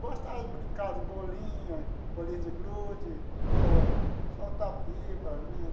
Gostava de brincar de bolinha, bolinha de gude, sol soltar pipa, né?